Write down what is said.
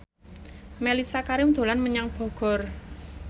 Mellisa Karim dolan menyang Bogor